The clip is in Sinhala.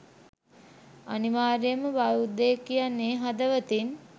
අනිවාර්යෙන්ම බෞද්ධයෙක් කියන්නෙ හදවතින්